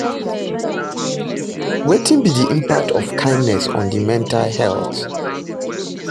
Wetin be di impact of kindness on di mental health?